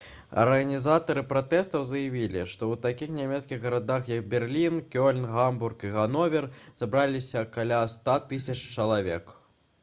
арганізатары пратэстаў заявілі што ў такіх нямецкіх гарадах як берлін кёльн гамбург і гановер сабраліся каля 100 000 чалавек